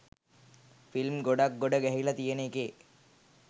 film ගොඩක් ගොඩ ගැහිල තියෙන එකේ